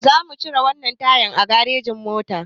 Zamu cire wannan tayar a garejin mota.